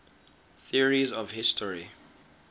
theories of history